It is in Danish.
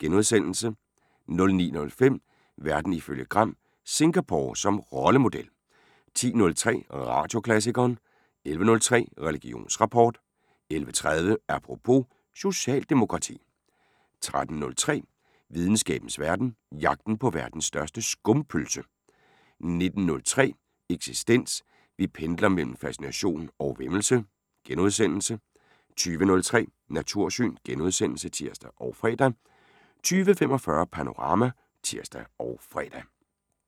* 09:05: Verden ifølge Gram: Singapore som rollemodel 10:03: Radioklassikeren 11:03: Religionsrapport 11:30: Apropos - socialdemokrati 13:03: Videnskabens Verden: Jagten på verdens største skumpølse 19:03: Eksistens: Vi pendler mellem fascination og væmmelse * 20:03: Natursyn *(tir og fre) 20:45: Panorama *(tir og fre)